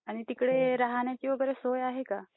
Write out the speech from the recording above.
आणि तिकडे राहण्याची वगैरे सोय आहे का ?